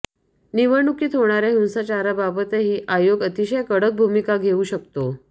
निवडणुकीत होणार्या हिंसाचाराबाबतही आयोग अतिशय कडक भूमिका घेऊ शकतो